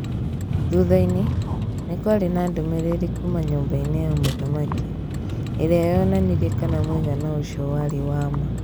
Thutha-inĩ, nĩ kwarĩ na ndũmĩrĩri kuuma nyũmba-inĩ ya mũthamaki. ĩrĩa yoonanirie kana mũigana ũcio warĩ wa ma.